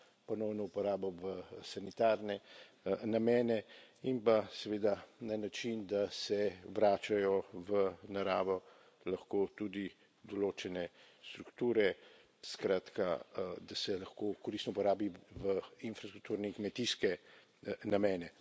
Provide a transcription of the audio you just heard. ponovno uporabo v sanitarne namene in pa seveda na način, da se vračajo v naravo lahko tudi določene strukture, skratka, da se lahko koristno uporabi v infrastrukturne in kmetijske namene.